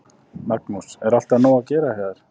Magnús: Er alltaf nóg að gera hjá þér?